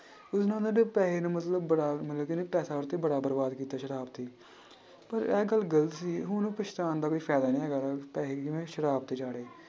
ਪੈਸੇ ਨੇ ਮਤਲਬ ਬੜਾ ਮਤਲਬ ਕਿ ਉਹਨੇ ਪੈਸੇ ਉਹ ਤੇ ਬਰਬਾਦ ਕੀਤਾ ਸ਼ਰਾਬ ਤੇ ਪਰ ਇਹ ਗੱਲ ਗ਼ਲਤ ਸੀ ਹੁਣ ਪਛਤਾਉਣ ਦਾ ਕੋਈ ਫ਼ਾਇਦਾ ਨੀ ਹੈਗਾ ਸ਼ਰਾਬ